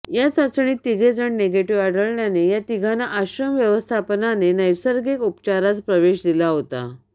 या चाचणीत तिघे जण निगेटिव्ह आढळल्याने या तिघांना आश्रम व्यवस्थापनाने नैसर्गिक उपचारास प्रवेश दिला होता